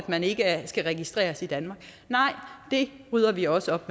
man ikke skal registreres i danmark nej det rydder vi også op